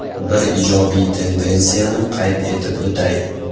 Bir ijobiy tendensiyani qayd etib o‘tay.